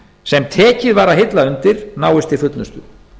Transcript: sem tekið var að hilla undir náist til fullnustu